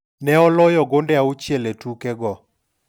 Ne oloyo gonde auchiel e tuke go.